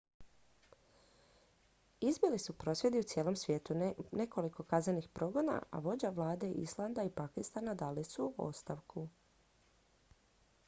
izbili su prosvjedi u cijelom svijetu nekoliko kaznenih progona a vođe vlada islanda i pakistana dali su ostavku